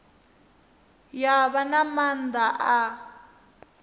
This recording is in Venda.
ya vha na maanḓa a